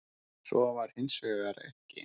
Svo var hins vegar ekki.